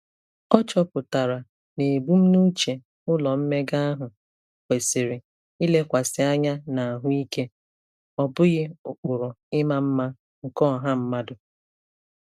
Ọ chọpụtara na ebumnuche ụlọ mmega ahụ kwesịrị ilekwasị anya n'ahụike, ọ bụghị ụkpụrụ ịma mma nke ọha mmadụ.